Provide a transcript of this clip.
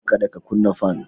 Kada ka kuna fan.